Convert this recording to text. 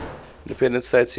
independent states cis